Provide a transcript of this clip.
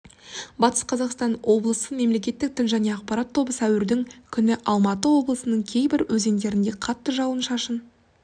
батыс қазақстан облысы мемлекеттік тіл және ақапарат тобы сәуірдің күні алматы облысының кейбір өзендерінде қатты жауын-шашын